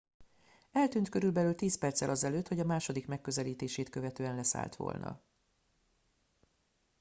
eltűnt körülbelül tíz perccel azelőtt hogy a második megközelítését követően leszállt volna